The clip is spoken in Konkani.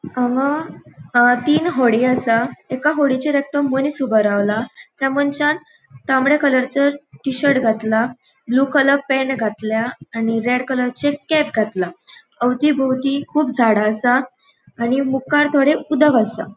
हांगा अ तीन होडी असा एक होडीयेचेर एकटो मनिस ऊबो रावला त्या मनशान तामड़े कलरचे टि-शर्ट घातला ब्लू कलर पॅन्ट घातला आणि रेड कलरचे कॅप घातला अवतीभोवंती कुब झाड़ा असा आणि मुखार थोड़े उदक असा.